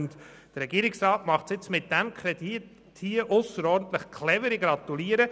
Der Regierungsrat agiert mit diesem Antrag nun äusserst clever – ich gratuliere.